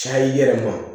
Caya i yɛrɛ ma